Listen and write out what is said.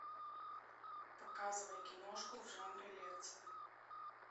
показывай киношку в жанре лекция